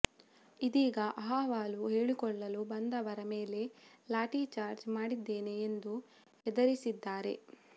ಇದೀಗ ಅಹವಾಲು ಹೇಳಿಕೊಳ್ಳಲು ಬಂದವರ ಮೇಲೆ ಲಾಠಿ ಚಾಜ್ರ್ ಮಾಡುತ್ತೇನೆ ಎಂದು ಹೆದರಿಸಿದ್ದಾರೆ